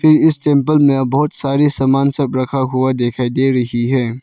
इ इस टेंपल में बहुत सारी सामान सब रखा हुआ दिखाई दे रही है।